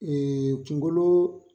kungolo